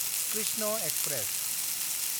Krishna express